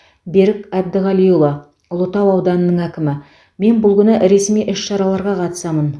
берік әбдіғалиұлы ұлытау ауданының әкімі мен бұл күні ресми іс шараларға қатысамын